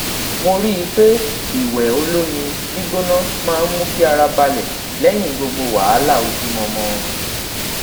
mo rii pe iwẹ olomi gbigbona maa n mu ki ara balẹ lẹyin gbogbo wahala ojumọmọ